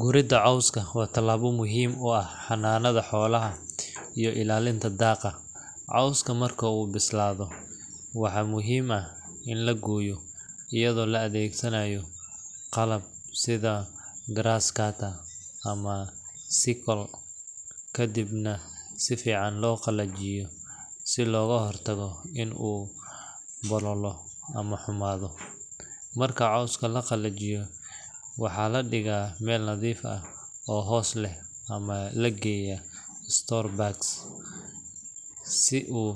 Gurida cooska waa tilabo muhiim u ah xananada xolaha iyo illalinta daaqa, cooska Marka uu bislaado waxaa muhiim ah in la goyo iyado la adeegsanayo qalab sida graas cutter ama sickle kadibna si fican loo qalajiyo si loga hortago in u bololo ama xumaado, marka cooska laqalajiyo waxaa ladhigaa Mel nadiif ah oo hos leh ama lageyaa store bags, si u